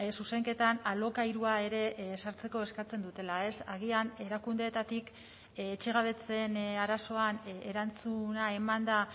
zuzenketan alokairua ere ezartzeko eskatzen dutela ez agian erakundeetatik etxegabetzeen arazoan erantzuna eman da